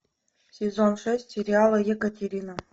сезон шесть сериала екатерина